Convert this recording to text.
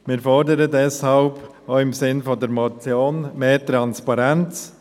Wir fordern deshalb, auch im Sinne der Motion, mehr Transparenz: